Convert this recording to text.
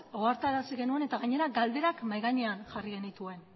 ohartarazi genuen eta gainera galderak mahai gainean jarri genituen